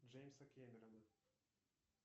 джеймса кэмерона